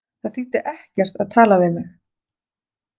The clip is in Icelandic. Það þýddi ekkert að tala við mig.